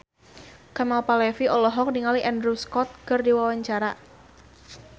Kemal Palevi olohok ningali Andrew Scott keur diwawancara